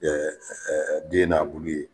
den n'a bulu ye.